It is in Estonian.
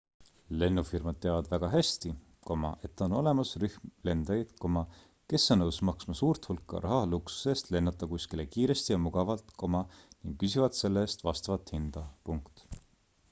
lennufirmad teavad väga hästi et on olemas rühm lendajaid kes on nõus maksma suurt hulka raha luksuse eest lennata kuskile kiiresti ja mugavalt ning küsivad selle eest vastavat hinda